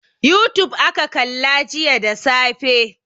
Youtube aka kalla jiya da safe.